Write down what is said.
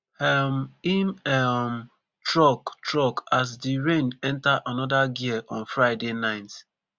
um im um truck truck as di rain enta anoda gear on friday night